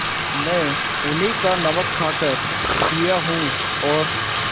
मैं उन्हीं का नमक खाकर जिया हूँ और